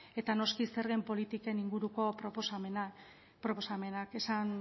eta noski zergen politiken inguruko proposamenak